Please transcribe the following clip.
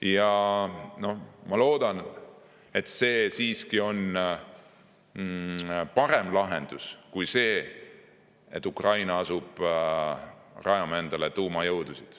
Ja ma loodan, et see siiski on parem lahendus kui see, et Ukraina asub rajama endale tuumajõudusid.